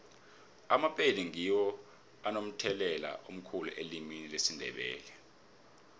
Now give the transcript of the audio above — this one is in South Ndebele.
amapedi ngiwo anomthelela omkhulu elimini lesindebele